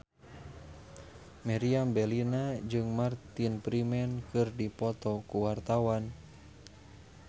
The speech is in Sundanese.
Meriam Bellina jeung Martin Freeman keur dipoto ku wartawan